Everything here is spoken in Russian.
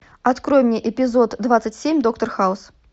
открой мне эпизод двадцать семь доктор хаус